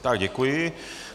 Tak děkuji.